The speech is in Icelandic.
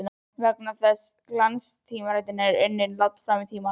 Vegna þess hve glanstímaritin eru unnin langt fram í tímann.